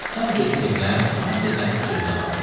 Sən dedin evlən, mən də sənin sözünə baxdım.